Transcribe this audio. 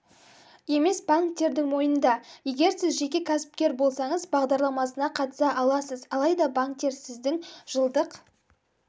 емес банктердің мойнында егер сіз жеке кәсіпкер болсаңыз бағдарламасына қатыса аласыз алайда банктер сіздің жылдық